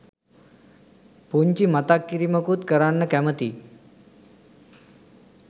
පුංචි මතක් කිරිමකුත් කරන්න කැමතියි